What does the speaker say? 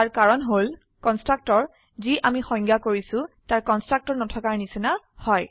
ইয়াৰ কাৰন হল কনস্ট্ৰাক্টৰ যি আমি সংজ্ঞায়িত কৰিছো তাৰ কনস্ট্ৰাক্টৰ নাথাকাৰ নিচিনা হয়